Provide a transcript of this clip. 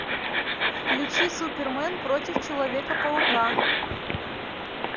включи супермен против человека паука